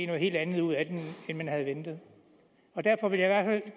noget helt andet ud af det end man havde ventet og derfor vil jeg